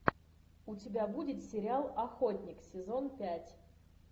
у тебя будет сериал охотник сезон пять